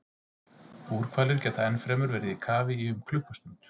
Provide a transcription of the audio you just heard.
Búrhvalir geta ennfremur verið í kafi í um klukkustund.